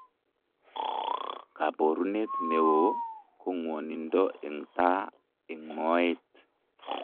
Kaboruneet neoo ko ng'wonindo eng' taa eng' mooet